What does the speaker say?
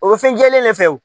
O bɛ fɛnjɛlen de fɛ o.